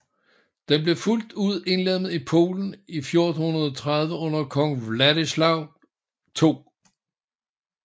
Den blev fuldt ud indlemmet i Polen i 1430 under kong Vladislav 2